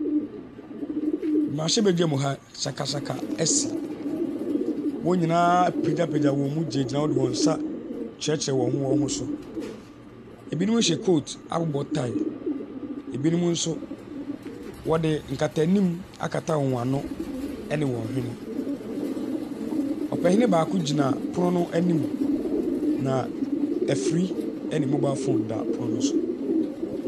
Mmerahyɛbadwa mu na sakasaka asi. Wɔn nyinaa apagyapagya wɔn mu atenetene wɔn nsa wɔ wɔn ho so. Binom hyɛ kootu abɔ taae, ɛbinom nso wɔde nkata anim akata wɔn ano ne wɔn hwene. Ɔpanini baako gyina pono no anim, na afiri ne mobile phone pono ne so.